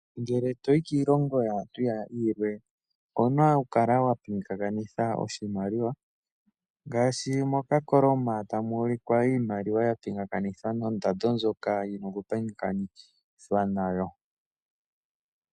Ngele toyi koshilongo shimwe, owuna okupingakanitha iimaliwa ngaashi mokakoloma tamu ulikwa iimaliwa yapingakanithwa nondando ndjoka yina okupingakanithwa nayo.